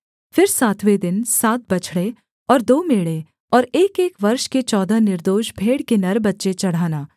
फिर सातवें दिन सात बछड़े और दो मेढ़े और एकएक वर्ष के चौदह निर्दोष भेड़ के नर बच्चे चढ़ाना